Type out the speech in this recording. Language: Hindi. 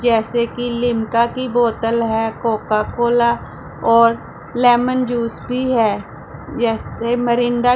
जैसे कि लिमका की बोतल है कोका कोला और लेमन जूस भी है जैसे मिरिंडा ।